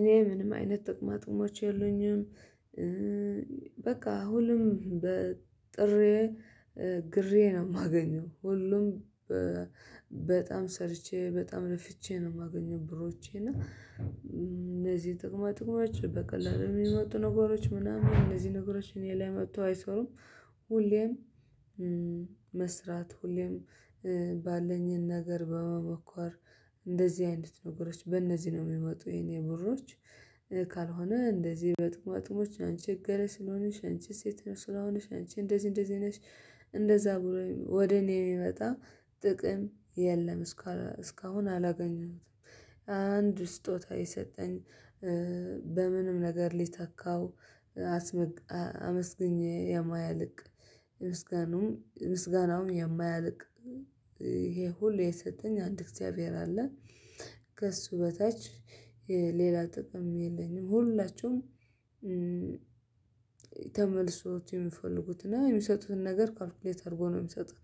እኔ ምንም አይነት ጥቅማጥሞች የሉኝም። በቃ ሁሉም በ ጥሬ ግሬ ነው ማገኘው ሁሉም በጣም ሰርቼ በጣም ለፍቼ ነው የማገኘው። ብሮቼን እና እነዚህ ጥቅማ ጥቅማችን በቀላሉ የሚመጡ ነገሮች ምናምን እነዚህ ነገሮች እኔ ላይ መጥተው አይሰሩም። ሁሌም መስራት ሁሌም ባለኝ ነገር በመሞከር እንደዚህ አይነት ነገሮች በእነዚህ ነው የሚመጡ የኔ ብሮች። ካልሆነ እንደዚህ በጥቅማ ጥቅሞች አንች ስለሆንሽ አንቺ ሴት ነሽ ስለሆንሽ አንቺ እንደዚህ እንደዚህ ነሽ። እንደዛ ብሎኝ ወደ እኔ የሚመጣ ጥቅም የለም። እስካሁን አላገኘሁትም። አንድ ስጦታ የሰጠኝ በምንም ነገር ሊተካው አመስግኜ የማያልቅ ምስጋናውም ምስጋናውም የማያልቅ ይሄ ሁሉ የሰጠኝ አንድ እግዚአብሔር አለ። ከእሱ በታች ሌላ ጥቅም የለኝም። ሁላችሁም ተመልሰው የሚፈልጉት እና የሚሰጡትን ነገር ካልኩሌት አድርገው ነው የሚሰጡት።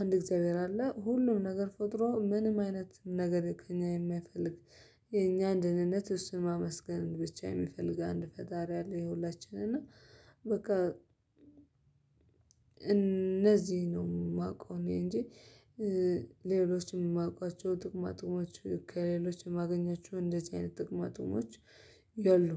አንድ እግዚአብሔር አለ ሁሉም ነገር ፈጥሮ ምንም አይነት ነገር ከእኛ የማይፈልግ የኛን ደህነት እሱን ማመስገን ብቻ የሚፈልግ አንድ ፈጣሪ አለ። የሁላችንም እና በቃ እነዚህ ነው የማውቀው እኔ እንጂ ሌሎችም የማውቃቸው ጥቅማጥቅሞች ከሌሎች የማገኛቸው እንደዚህ አይነት ጥቅማጥቅሞች የሉም